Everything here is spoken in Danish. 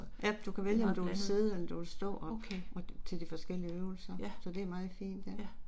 Ja, du kan vælge om du vil sidde eller du vil stå op, til de forskellige øvelser, så det er meget fint, ja